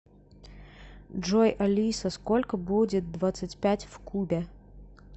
джой алиса сколько будет двадцать пять в кубе